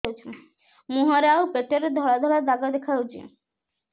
ମୁହଁରେ ଆଉ ପେଟରେ ଧଳା ଧଳା ଦାଗ ଦେଖାଯାଉଛି